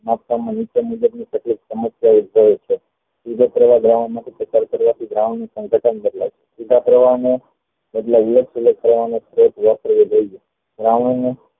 મુજબ ની તકલીફ સમસ્યાઓ ઉદ્યભવે છે દ્રાવણ ની સાંખટન બદલાય છે દ્રાવણ ને